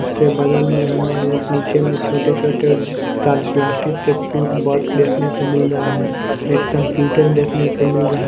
उसके बगल में हमें नीचे में छोटे-छोटे प्लास्टिक के फूड बॉक्स देखने को मिल रहा है एक कंप्यूटर देखने को मिल रहा--